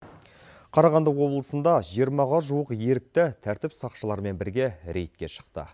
қарағанды облысында жиырмаға жуық ерікті тәртіп сақшыларымен бірге рейдке шықты